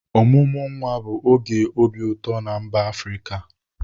Ọmụmụ nwa bụ oge obi ụtọ na mba Afrịka.